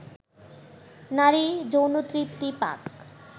নারী যৌনতৃপ্তি পাক